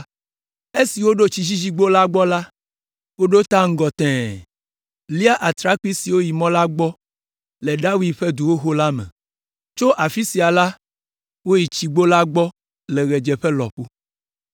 Esi woɖo Tsidzidzigbo la gbɔ la, woɖo ta ŋgɔ tẽe, lia atrakpui siwo yi mɔ la gbɔ le David ƒe du xoxo la me. Tso afi sia la, woyi Tsigbo la gbɔ le ɣedzeƒe lɔƒo.